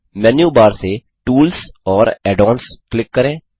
मेनू bar से tools और add ons click करें